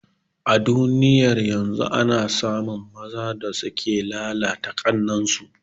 A duniyar yanzu ana samun mazan da suke lalata ƙannan su